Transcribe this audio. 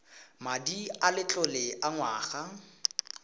madi a letlole a ngwana